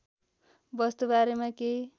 वस्तु बारेमा केही